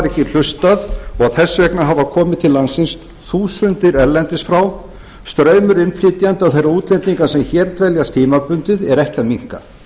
ekki hlustað og þess vegna hafa komið til landsins þúsundir erlendis frá straumur innflytjenda og þeirra útlendinga sem hér dveljast tímabundið er ekki að minnka